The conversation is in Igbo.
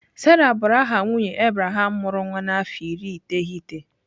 Sarah bụrụ aha nwunye Abraham mụrụ nwa n'afọ iri iteghete